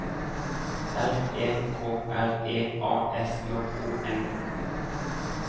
R E K R E A S J O N